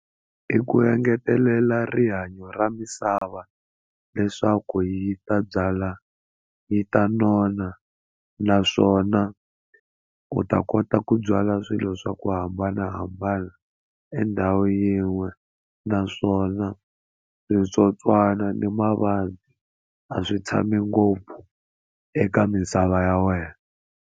I ku engetelela rihanyo ra misava leswaku yi ta byala yi ta nona naswona u ta kota ku byala swilo swa ku hambanahambana endhawu yin'we naswona switsotswana ni mavabyi a swi tshami ngopfu eka misava ya wena.